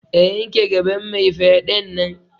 A yanke gaban mai fyaɗen nan!